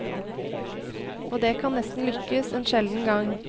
Og det kan nesten lykkes, en sjelden gang.